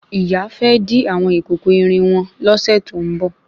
Ìyá fẹ́ dí àwọn ìkòkò irin wọn lọ́sè tó ń bọ̀